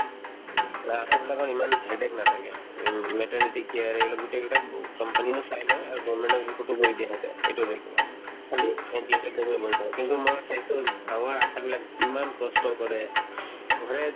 আ আশাবিলাকৰ ইমান headache নাথাকে উম maternity care য়ে এইবিলাক গোটেই কেইটাক company য়ে ন চাই লই আৰু government ক report টো কৰি দিয়ে সিহঁতে এইটো report খালী ক দিব কিন্তু মই চাইছো গাঁৱৰ আশাবিলাক ইমান কষ্ট কৰে ঘৰে